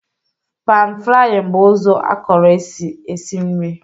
panfrying bụ ụzọ akọrọ esi esi nri